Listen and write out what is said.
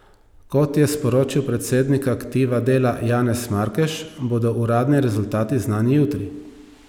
Kot je sporočil predsednik Aktiva Dela Janez Markeš, bodo uradni rezultati znani jutri.